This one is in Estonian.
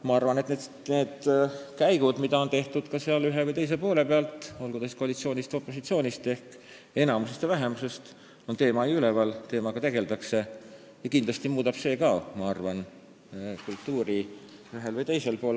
Ma arvan, et need sammud ja käigud, mida on tehtud ühe või teise poole pealt, olgu siis tegemist koalitsiooni või opositsiooniga ehk enamuse ja vähemusega, on teema toonud üles, teemaga tegeldakse ja kindlasti muudab see ka, ma arvan, kultuuri ühel või teisel moel.